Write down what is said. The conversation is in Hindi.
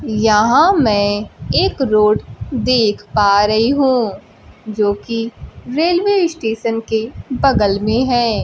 यहां मैं एक रोड देख पा रही हूं जो कि रेलवे स्टेशन के बगल में है।